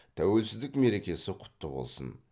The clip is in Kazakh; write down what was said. тәуелсіздік мерекесі құтты болсын